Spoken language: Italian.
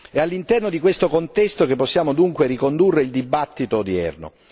È all'interno di questo contesto che possiamo dunque ricondurre il dibattito odierno.